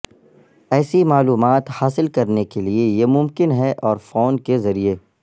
ایسی معلومات حاصل کرنے کے لئے یہ ممکن ہے اور فون کے ذریعے